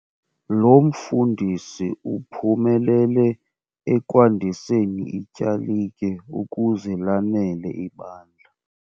Lo mfundisi uphumelele ekwandiseni ityalike ukuze lanele ibandla.